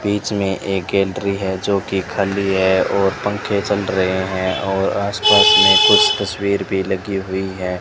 बीच में एक गैलरी हैं जोकि खाली है और पंखे चल रहे हैं और आस पास में कुछ तस्वीर भी लगी हुई हैं।